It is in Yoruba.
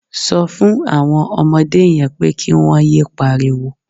Sọ fún àwọn ọmọdé yẹn pé kí wọ́n yé pariwo.